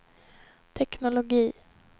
teknologi